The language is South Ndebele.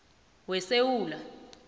wesewula